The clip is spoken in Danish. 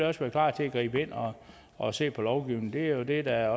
også være klar til at gribe ind og og se på lovgivningen det er det er